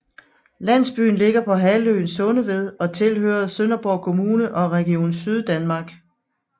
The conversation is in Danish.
Landsbyen ligger på halvøen Sundeved og tilhører Sønderborg Kommune og Region Syddanmark